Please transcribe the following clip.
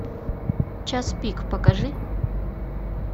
час пик покажи